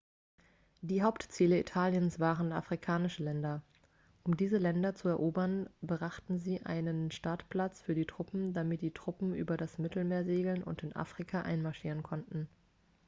die hauptziele italiens waren afrikanische länder um diese länder zu erobern brauchten sie einen startplatz für die truppen damit die truppen über das mittelmeer segeln und in afrika einmarschieren konnten